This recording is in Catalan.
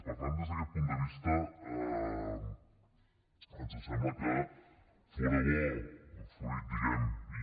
per tant des d’aquest punt de vista ens sembla que fóra bo fruit diguemne